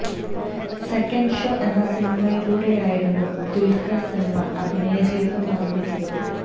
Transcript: second show എന്ന സിനിമയിലൂടെയായിരുന്നു ദുല്ഖര് സല്മാന് അഭിനയ ജീവിതം ആരംഭിച്ചത്